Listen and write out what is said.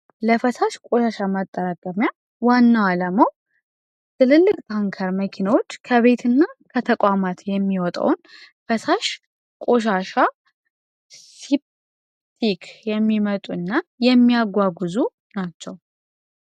የፈሳሽ ውሃ ማጠራቀሚያ ዋናው አላማው ትልልቅ ታንከር መኪናዎች ከቤት እና ከተቋማት የሚወጣውን ፈሳሽ ቆሻሻ የሚመጡ እና የሚያጓጉዙ ናቸው።